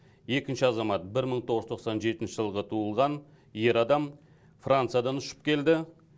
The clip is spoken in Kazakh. екінші азамат бір мың тоғыз жүз тоқсан жетінші жылғы туылған ер адам франциядан ұшып келді